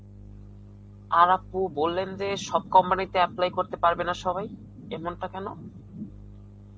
আর আপু বল্লেন যে, সব company তে apply করতে পারবে না সবাই এমনটা কেন?